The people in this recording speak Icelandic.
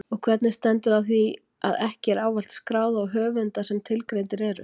Og hvernig stendur á því að ekki er ávallt skráð á höfunda sem tilgreindir eru?